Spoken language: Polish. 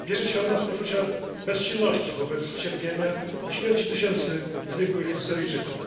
Bierze się ona z poczucia bezsilności wobec cierpienia, śmierci tysięcy zwykłych Syryjczyków.